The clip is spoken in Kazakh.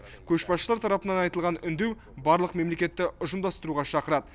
көшбасшылар тарапынан айтылған үндеу барлық мемлекетті ұжымдастыруға шақырады